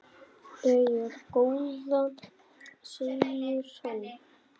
Jæja góða, segir hann.